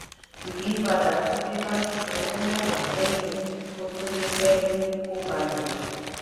ìyípadà ti dé bá sísanwó mẹ́wàá sẹ́yìn kò tún gbé pẹ́ẹ́lí kò balẹ̀.